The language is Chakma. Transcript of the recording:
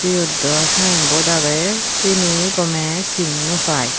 yot diw signboard agey seni gomei seen no fai.